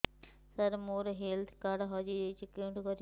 ସାର ମୋର health card ହଜି ଯାଇଛି କେଉଁଠି କରିବି